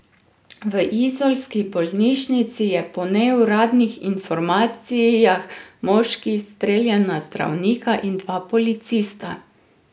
V izolski bolnišnici je po neuradnih informacijah moški streljal na zdravnika in dva policista.